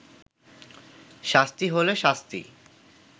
শাস্তি হলে শাস্তি